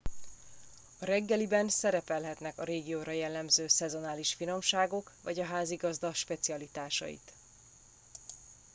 a reggeliben szerepelhetnek a régióra jellemző szezonális finomságok vagy a házigazda specialitásait